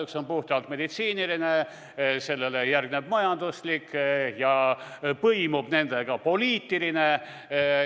Üks on puhtalt meditsiiniline, sellele järgneb majanduslik ja nendega põimub poliitiline.